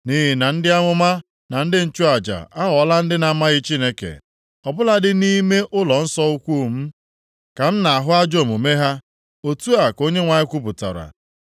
“Nʼihi na ndị amụma na ndị nchụaja aghọọla ndị na-amaghị Chineke. Ọ bụladị nʼime ụlọnsọ ukwu m ka m na-ahụ ajọ omume ha.” Otu a ka Onyenwe anyị kwupụtara.